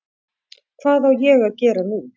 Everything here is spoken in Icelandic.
Hvað á ég að gera nú?